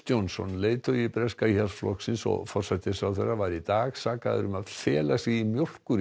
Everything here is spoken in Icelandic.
Johnson leiðtogi breska Íhaldsflokksins og forsætisráðherra var í dag sakaður um að fela sig í